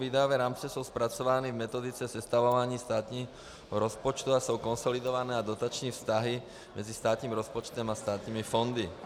Výdajové rámce jsou zpracovány v metodice sestavování státního rozpočtu a jsou konsolidované na dotační vztahy mezi státním rozpočtem a státními fondy.